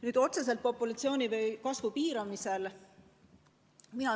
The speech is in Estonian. Nüüd, otseselt populatsiooni kasvu piiramisest ...